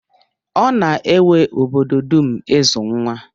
Ọ na-ewe obodo dum ịzụ nwa.